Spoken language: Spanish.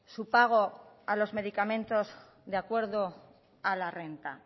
su pago a los medicamentos de acuerdo a la renta